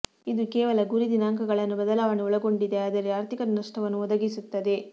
ಇದು ಕೇವಲ ಗುರಿ ದಿನಾಂಕಗಳನ್ನು ಬದಲಾವಣೆ ಒಳಗೊಂಡಿದೆ ಆದರೆ ಆರ್ಥಿಕ ನಷ್ಟವನ್ನು ಒದಗಿಸುತ್ತದೆ